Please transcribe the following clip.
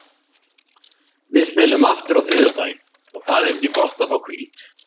Við spilum aftur á þriðjudaginn og það er því gott að fá hvíld.